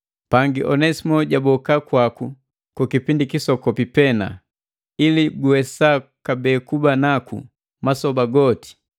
Pangi Onesimo jaboka kwaku ku kipindi kisokopi pena, ili guwesa kabee kuba naku masoba goti.